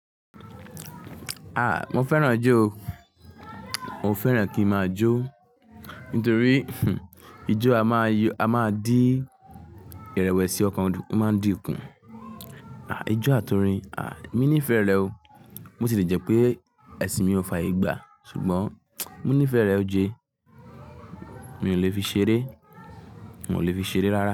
Ah! Mo fẹ́ràn ijó o. Mo fẹ́ràn kí ń máa jó. Nítorí ijó a máa yí, a máa dí ìrẹ̀wẹ̀sì ọkàn máa dín kù. Ah! Ijó àtorin, ah! Mi ní'fẹ rẹ o. Mo sì lè jẹ́ pé ẹṣin mi ò fààyè gbà. Ṣùgbọ́n mo nífẹẹ rẹ o jee. Mi ò lè fi ṣeré, mo ò lè fi ṣeré rárá.